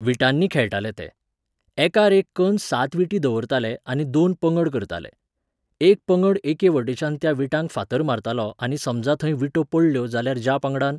विटांनी खेळटाले ते. एकार एक कन्न सात विटी दवरताले आनी दोन पंगड करताले. एक पंगड एकेवटेच्यान त्या विटांक फातर मारतालो आनी समजां थंय विटो पडल्यो जाल्यार ज्या पंगडान